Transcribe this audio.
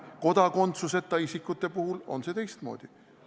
Kodakondsuseta isikute puhul on see teistmoodi.